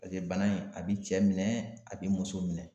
paseke bana in a be cɛ minɛ a be muso minɛ